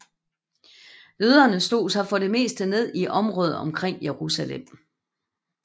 Jøderne slog sig for det meste ned i området omkring Jerusalem